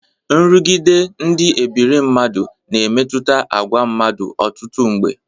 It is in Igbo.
Nrụgide ndị ebire mmadụ na-emetụta agwa mmadụ ọtụtụ mgbe.